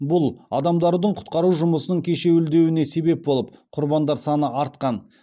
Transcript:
бұл адамдардың құтқару жұмысының кешуілдеуіне себеп болып құрбандар саны артқан